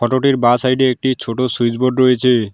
বাঁ সাইড -এ একটি ছোট সুইচ বোর্ড রয়েছে।